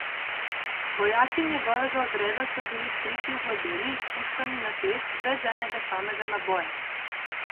Vojaki njegovega odreda so bili skriti v globeli, s puškami na tleh, brez enega samega naboja.